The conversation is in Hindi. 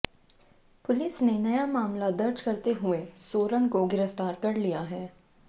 पुलिस ने नया मामला दर्ज करते हुए सोरण को गिरफ्तार कर लिया है